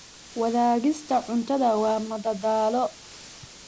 Wadaagista cuntada waa madadaalo.